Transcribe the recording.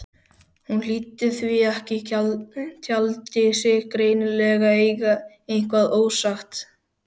Hún hlýddi því ekki, taldi sig greinilega eiga eitthvað ósagt.